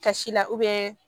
Kasi la